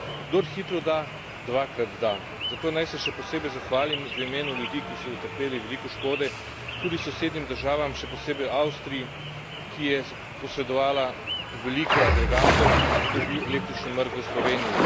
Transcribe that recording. Kdor hitro da, dvakrat da, zato naj se še posebej zahvalim v imenu ljudi, ki so utrpeli veliko škode, tudi sosednjim državam, še posebej Avstriji, ki je posredovala veliko agregatov, ko je bil električni mrk v Sloveniji.